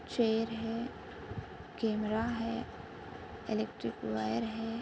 Chair है camera है electric wire है।